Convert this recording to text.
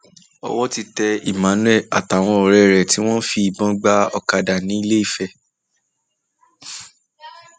owó ti tẹ emmanuel àtàwọn ọrẹ rẹ tí wọn ń fìbọn gba ọkadà ńilééfẹ